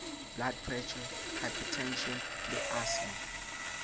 blood pressure hypertension le asthma